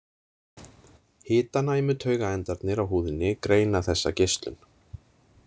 Hitanæmu taugaendarnir á húðinni greina þessa geislun.